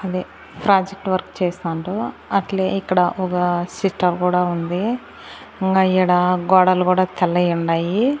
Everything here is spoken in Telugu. అదే ప్రాజెక్టు వర్క్ చేస్తాండు అట్లే ఇక్కడ ఒగ సిస్టర్ గూడా ఉంది. ఇంగా ఈడ గోడలు గూడా తెల్లయి ఉండాయి.